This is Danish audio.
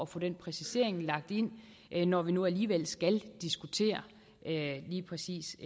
få den præcisering lagt ind ind når vi nu alligevel skal diskutere lige præcis